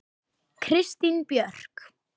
Kristín Björk.